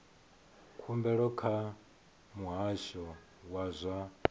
khumbelo kha muhasho wa zwa